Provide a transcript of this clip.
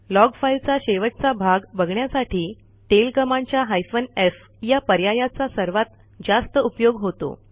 log फाईलचा शेवटचा भाग बघण्यासाठी टेल कमांडच्या हायफेन एफ या पर्यायाचा सर्वात जास्त उपयोग होतो